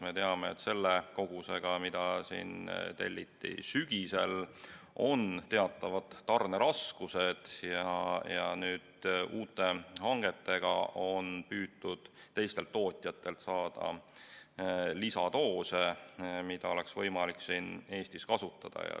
Me teame, et selle kogusega, mis telliti sügisel, on teatavad tarneraskused ja uute hangetega on püütud teistelt tootjatelt saada lisadoose, mida oleks võimalik Eestis kasutada.